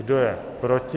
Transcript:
Kdo je proti?